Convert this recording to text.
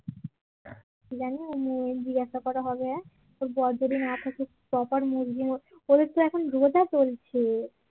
কি জানি জিজ্ঞাসা করা হবে হা ওর বর যদি না থাকে proper mood নিয়ে ওদের তো এখন রোজা চলছে